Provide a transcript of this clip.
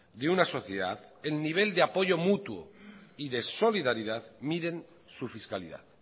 de una sociedad el nivel de apoyo mutuo y de solidaridad miren su fiscalidad